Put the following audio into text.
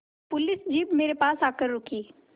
police jeep मेरे पास आकर रुकी